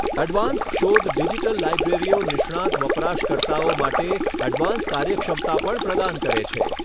Advanced શોધ digital લાઈબ્રેરીઓ નિષ્ણાત વપરાશકર્તાઓ માટે એડવાન્સ્ડ કાર્યક્ષમતા પણ પ્રદાન કરે છે.